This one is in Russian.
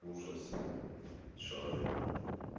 ужас что ты там